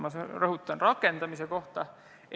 Ma rõhutan, rakendamise kohta!